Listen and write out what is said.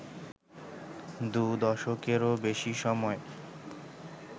দু দশকেরও বেশি সময়